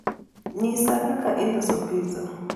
nyisa kaka iloso pizza